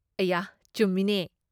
ꯑꯌꯥ, ꯆꯨꯝꯃꯤꯅꯦ!